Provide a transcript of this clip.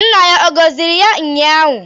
Nna ya ọ gọziri ya ụnyaahụ?